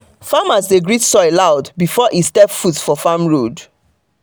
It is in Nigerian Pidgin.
farmer dey greet soil loud before e step foot for farm road.